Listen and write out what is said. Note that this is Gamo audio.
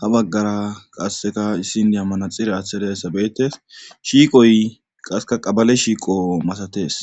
ha baggara qasseka issin di ammanaxire aththa dizayssabeetes shiiqoy qaseka qabale shiiqo masatees